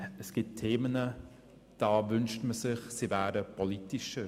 Es gibt Themen, da wünscht man sich, sie wären politischer.